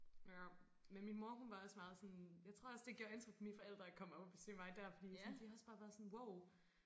Ja men min mor hun var også meget sådan jeg tror også det gjorde indtryk på mine forældre at komme op og besøge mig der fordi sådan de har også bare været sådan wow